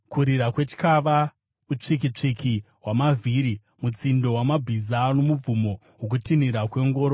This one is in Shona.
Kurira kwetyava, utsvikitsviki hwamavhiri, mutsindo wamabhiza nomubvumo wokutinhira kwengoro!